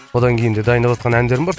одан кейін де дайындаватқан әндерім бар